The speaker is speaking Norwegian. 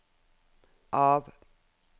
av